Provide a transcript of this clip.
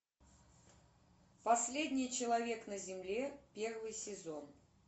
последний человек на земле первый сезон